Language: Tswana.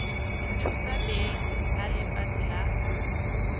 thusa beng ba lefatshe la